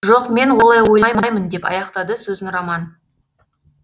жоқ мен олай ойламаймын деп аяқтады сөзін роман